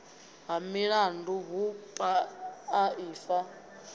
ha milandu hu paa ifa